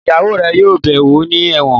Ìyàwó rẹ̀ yóò bẹ̀ẹ́ wò ní ẹ̀wọ̀n